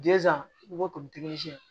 i b'a to